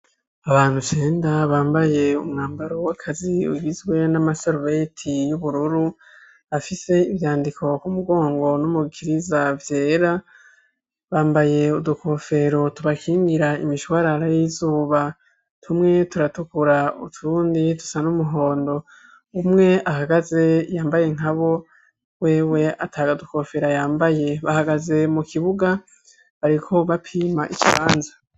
Abantu cenda bambaye umwambaro w'akazi ugizwe n'amasarubeti y'ubururu, afise ivyandiko ku mugongo no mu gikiriza vyera, bambaye udukofero tubakingira imishwarara y'izuba. Tumwe turatukura utundi dusa n'umuhondo. Umwe ahagaze yambaye nka bo, wewe ata dukofero yambaye. Bahagaze mu kibuga, bariko bapima ikibanza.